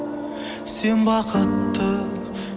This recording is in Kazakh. сен бақытты